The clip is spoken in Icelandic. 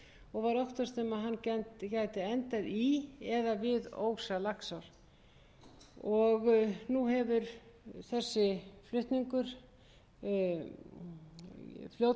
og var óttast að hann gæti endað í eða við ósa laxár nú hefur þessi flutningur fljótsins verið